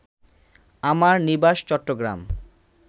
আমার নিবাস চট্টগ্রাম